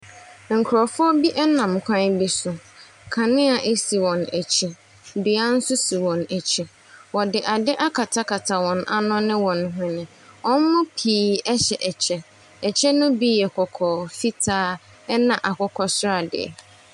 Nkurɔfoɔ bi nam kwan bi so. Kanea si wɔn akyi. Dua nso si wɔn akyi. Wɔde ade akatakata wɔn ano ne wɔn hwene. Wɔn mu pii hyɛ kyɛ. Kyɛ ne bi yɛ kɔkɔɔ, fitaa ne akokɔsradeɛ.